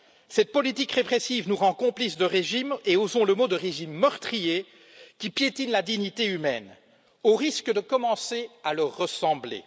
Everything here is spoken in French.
Cette politique répressive nous rend complices de régimes et, osons le mot, de régimes meurtriers qui piétinent la dignité humaine, au risque de commencer à leur ressembler.